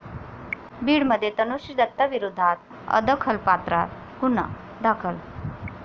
बीडमध्ये तनुश्री दत्ताविरोधात अदखलपात्र गुन्हा दाखल